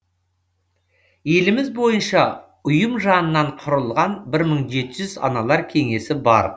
еліміз бойынша ұйым жанынан құрылған бір мың жеті жүз аналар кеңесі бар